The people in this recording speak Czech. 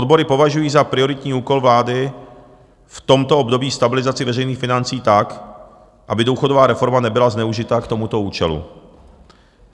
Odbory považují za prioritní úkol vlády v tomto období stabilizaci veřejných financí tak, aby důchodová reforma nebyla zneužita k tomuto účelu.